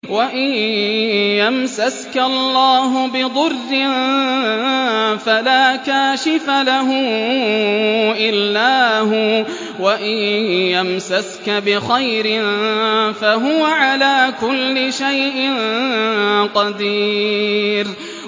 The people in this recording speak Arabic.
وَإِن يَمْسَسْكَ اللَّهُ بِضُرٍّ فَلَا كَاشِفَ لَهُ إِلَّا هُوَ ۖ وَإِن يَمْسَسْكَ بِخَيْرٍ فَهُوَ عَلَىٰ كُلِّ شَيْءٍ قَدِيرٌ